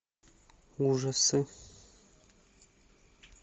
ужасы